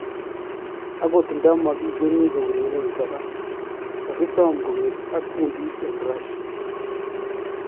Akot nda makikeeni koureren koraa , kakisoom kong'et ak kuundit en Russia